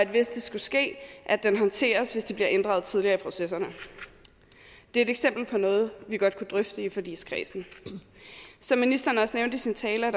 hvis det skulle ske håndteres hvis de bliver inddraget tidligere i processerne det er et eksempel på noget vi godt kunne drøfte i forligskredsen som ministeren også nævnte i sin tale er